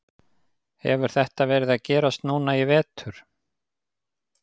Hefur þetta verið að gerast núna í vetur?